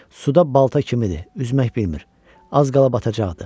Suda balta kimidir, üzmək bilmir, az qala batacaqdı.